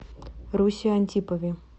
русе антипове